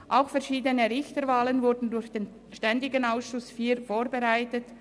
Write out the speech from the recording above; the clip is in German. Auch verschiedene Richterwahlen wurden durch den ständigen Ausschuss IV vorbereitet.